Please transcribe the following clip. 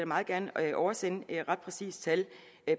meget gerne oversende et ret præcist tal